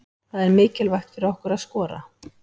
Það er mikilvægt fyrir okkur að skora.